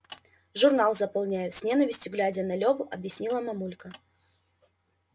журнал заполняю с ненавистью глядя на леву объяснила мамулька